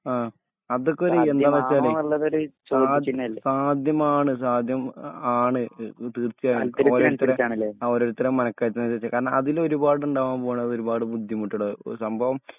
ആ അതൊക്കൊരു യെന്താണെന്ന് വെച്ചാലെ സാധ്യമാണ് സാധ്യം ആണ് തീർച്ചയായിട്ടും ഓരോരുത്തരെ ഓരോരുത്തരെ മനകര്ത്തിനനുസരിച്ചാണ് കാരണ അതിലൊരുപാട് ഇണ്ടാവാൻ പോണ്ണ ഒരുപാട് ബുദ്ധിമുട്ടഡ് സംഭവം